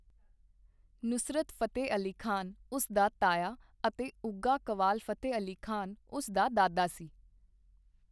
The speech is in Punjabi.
ਨੁਸਰਤ ਫ਼ਤਿਹ ਅਲੀ ਖ਼ਾਨ ਉਸ ਦਾ ਤਾਇਆ ਅਤੇ ਉਘਾ ਕੱਵਾਲ ਫ਼ਤਿਹ ਅਲੀ ਖ਼ਾਨ ਉਸ ਦਾ ਦਾਦਾ ਸੀ।